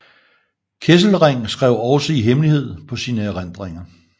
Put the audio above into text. Kesselring skrev også i hemmelighed på sine erindringer